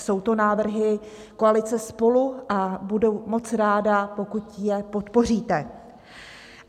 Jsou to návrhy koalice SPOLU a budu moc ráda, pokud je podpoříte.